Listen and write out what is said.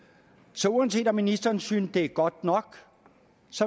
så uanset om ministeren synes det er godt nok